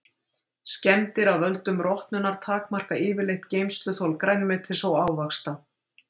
Skemmdir af völdum rotnunar takmarka yfirleitt geymsluþol grænmetis og ávaxta.